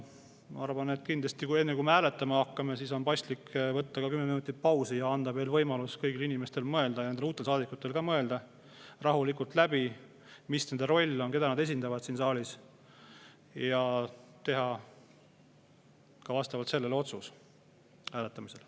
Ma arvan, et enne, kui me hääletama hakkame, on kindlasti paslik võtta kümme minutit pausi ja anda võimalus kõigil inimestel, ka uutel saadikutel mõelda rahulikult läbi, mis nende roll on, keda nad esindavad siin saalis, et nad teha vastavalt sellele otsuse hääletamisel.